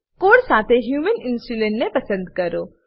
code સાથે human insulin ને પસંદ કરો